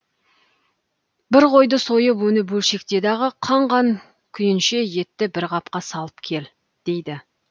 бір қойды сойып оны бөлшекте дағы қан қан күйінше етті бір қапқа салып кел дейді